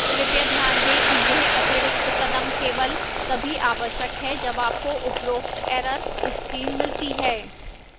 कृपया ध्यान दें कि यह अतिरिक्त कदम केवल तभी आवश्यक है जब आपको उपरोक्त error screen मिलती है